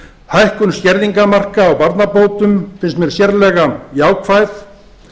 hækkun skerðingarmarka á barnabótum finnst mér sérlega jákvæð